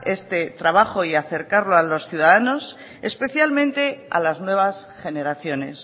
este trabajo y acercarlo a los ciudadanos especialmente a las nuevas generaciones